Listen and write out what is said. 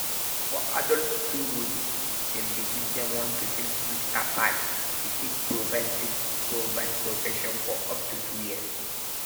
for adults 2 doses (dem dey give dem 1 to 6 weeks apart) e fit provide fit provide protection for up to 2 years.